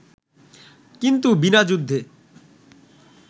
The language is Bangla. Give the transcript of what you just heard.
কিন্তু বিনা যুদ্ধে